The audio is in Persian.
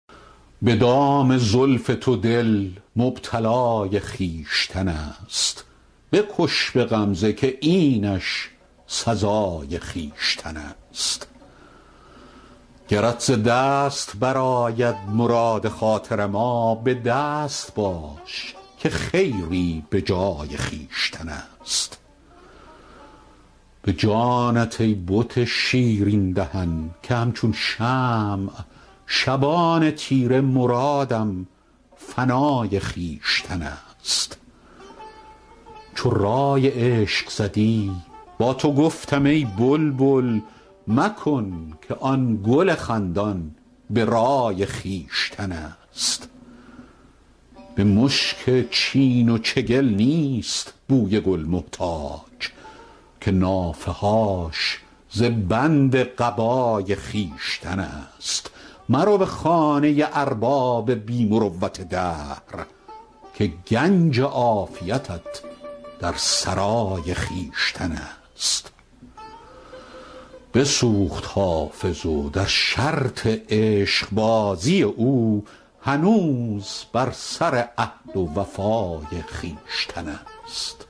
به دام زلف تو دل مبتلای خویشتن است بکش به غمزه که اینش سزای خویشتن است گرت ز دست برآید مراد خاطر ما به دست باش که خیری به جای خویشتن است به جانت ای بت شیرین دهن که همچون شمع شبان تیره مرادم فنای خویشتن است چو رای عشق زدی با تو گفتم ای بلبل مکن که آن گل خندان به رای خویشتن است به مشک چین و چگل نیست بوی گل محتاج که نافه هاش ز بند قبای خویشتن است مرو به خانه ارباب بی مروت دهر که گنج عافیتت در سرای خویشتن است بسوخت حافظ و در شرط عشقبازی او هنوز بر سر عهد و وفای خویشتن است